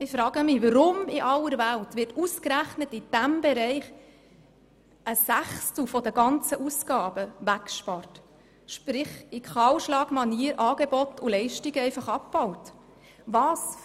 Ich frage mich, weshalb in aller Welt ausgerechnet ein Sechstel der ganzen Ausgaben weggespart wird sprich in Kahlschlagmanier Angebot und Leistung einfach abgebaut werden.